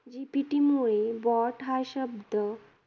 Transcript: GPT मुळे BOT हा शब्द